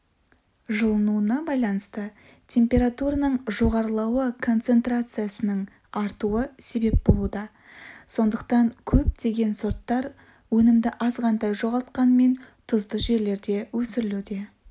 жылынуына байланысты температураның жоғарылауы концентрациясының артуы себеп болуда сондықтан көптеген сорттар өнімді азғантай жоғалтқанмен тұзды жерлерде өсірілуде